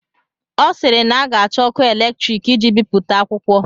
Ọ sịịrị na a ga-achọ ọkụ eletrik iji bipụta akwụkwọ.